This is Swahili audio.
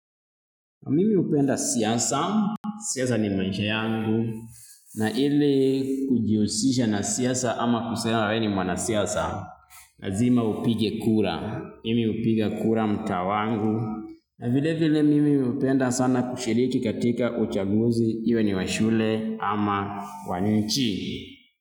Mimi hupenda siasa, siasa ni maisha yangu, na ile kujihusisha na siasa ama kusema wewe ni mwana siasa, lazima upige kura, mimi hupiga kura mtaa wangu, na vile vile mimi hupenda sana kushiriki katika uchaguzi, iwe ni wa shule ama wa nchi.